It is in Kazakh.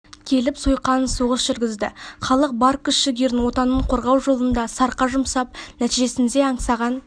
келіп сойқан соғыс жүргізді халық бар күш жігерін отанын қорғау жолында сарқа жұмсап нәтижсінде аңсаған